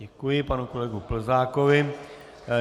Děkuji panu kolegovi Plzákovi.